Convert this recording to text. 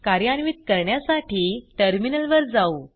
कार्यान्वित करण्यासाठी टर्मिनलवर जाऊ